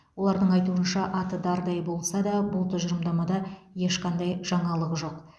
олардың айтуынша аты дардай болса да бұл тұжырымдамада ешқандай жаңалық жоқ